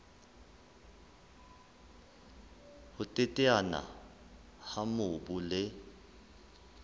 ho teteana ha mobu le